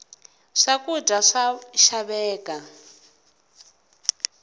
swakudya swa xaveka